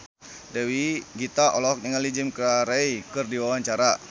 Dewi Gita olohok ningali Jim Carey keur diwawancara